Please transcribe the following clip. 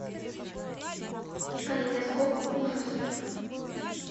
калейдоскоп ужасов